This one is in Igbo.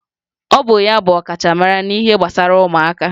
Ọ bụ ya bụ ọkachamara n'ihe gbasara ụmụaka